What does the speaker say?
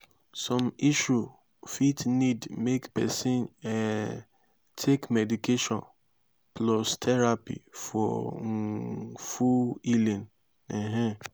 som issue fit nid mek pesin um take medication plus therapy for um full healing um